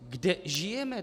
Kde žijeme?